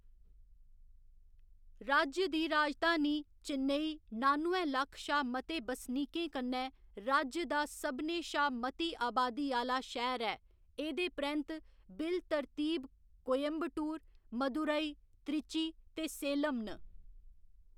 राज्य दी राजधानी चेन्नई नानुए लक्ख शा मते बसनीकें कन्नै राज्य दा सभनें शा मती अबादी आह्‌‌‌ला शैह्‌र ऐ, एह्‌‌‌दे परैंत्त बिल तरतीब कोयंबटूर, मदुराई, त्रिची ते सेलम न।